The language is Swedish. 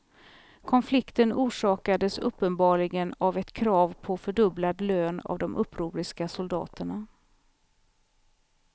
Konflikten orsakades uppenbarligen av ett krav på fördubblad lön av de upproriska soldaterna.